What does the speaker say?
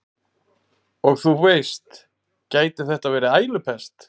Og þú veist, gæti þetta verið ælupest?